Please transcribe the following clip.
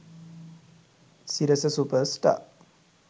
sirasa super star